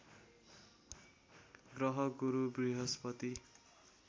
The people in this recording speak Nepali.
ग्रह गुरु बृहस्पति